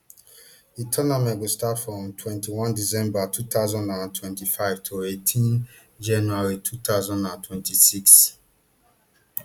di tournament go start from twenty-one december two thousand and twenty-five to eighteen january two thousand and twenty-six